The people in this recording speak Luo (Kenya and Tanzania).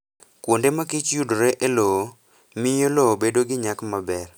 Kuonde ma kich yudore e lowo, miyo lowo bedo gi nyak maber.